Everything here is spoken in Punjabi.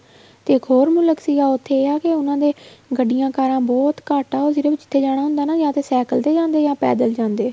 ਤੇ ਇੱਕ ਹੋਰ ਮੁਲਕ ਸੀਗਾ ਉੱਥੇ ਇਹ ਆ ਉਹਨਾ ਦੇ ਗੱਡੀਆਂ ਕਾਰਾ ਬਹੁਤ ਘੱਟ ਆ ਉਹ ਸਿਰਫ਼ ਜਿੱਥੇ ਜਾਣਾ ਹੁੰਦਾ ਨਾ ਜਾ ਤਾਂ ਸੈਕ਼ਲ ਤੇ ਜਾਂਦੇ ਏ ਜਾ ਪੈਦਲ ਜਾਂਦੇ ਏ